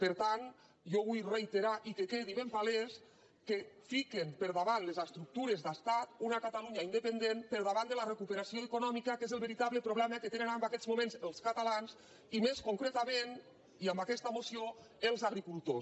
per tant jo vull reiterar i que quedi ben palès que fi·quen per davant les estructures d’estat una catalunya independent per davant de la recuperació econòmica que és el veritable problema que tenen en aquests mo·ments els catalans i més concretament i amb aquesta moció els agricultors